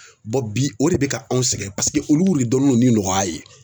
bi o de be ka anw sɛgɛn paseke olu de donne don ni nɔgɔya ye.